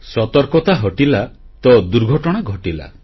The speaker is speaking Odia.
ସତର୍କତା ହଟିଲା ତ ଦୁର୍ଘଟଣା ଘଟିଲା